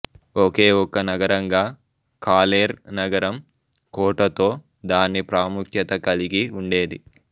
ఒకేఒక నగరంగా కాలేర్ నగరం కోటతో దాని ప్రాముఖ్యత కలిగి ఉండేది